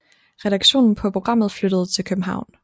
Redaktionen på programmet flyttede til København